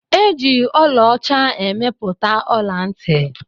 E ji ọla ọcha emepụta ọla-nti